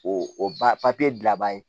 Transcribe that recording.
O o ba papiye bila bani